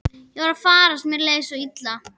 Ég var að farast, mér leið svo illa.